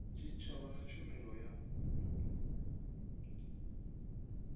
tshitshavha na tshumelo ya u